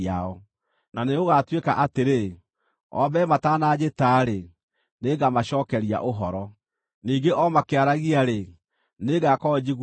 Na nĩgũgatuĩka atĩrĩ, o mbere mataananjĩta-rĩ, nĩngamacookeria ũhoro; ningĩ o makĩaragia-rĩ, nĩngakorwo njiguĩte.